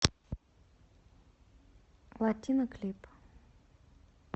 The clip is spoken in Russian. латина клип